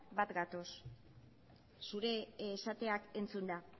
bat gatoz zure esateak entzunda